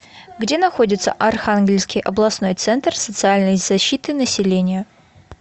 где находится архангельский областной центр социальной защиты населения